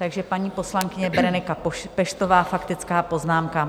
Takže paní poslankyně Berenika Peštová, faktická poznámka.